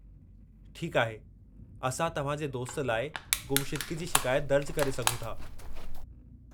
ठीकु आहे, असां तव्हां जे दोस्त लाइ गुमशुदिगी जी शिकायत दर्जु करे सघूं था।